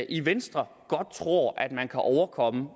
i venstre godt tror man kan overkomme